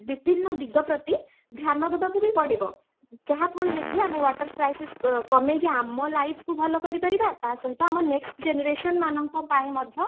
ବିଭିନ୍ନ ଦିଗ ପ୍ରତି ଧ୍ୟାନ ଦେବାକୁ ବି ପଡିବ ଯାହା ଫଳରେ କି ଆମ water crisis କୁ କମେଇକି ଆମ life କୁ ଭଲ କରି ପାରିବ ତା ସହିତ ଆମ next generation ମାନଙ୍କ ପାଇଁ ମଧ୍ୟ